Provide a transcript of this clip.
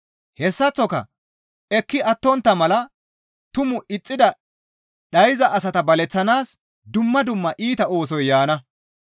Hessaththoka ekki attontta mala tumaa ixxidi dhayza asata baleththanaas dumma dumma iita oosoy yaana.